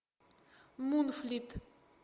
мунфлит